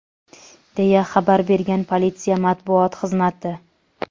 deya xabar bergan politsiya Matbuot xizmati.